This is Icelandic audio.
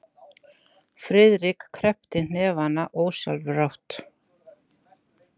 Friðrik kreppti hnefana ósjálfrátt.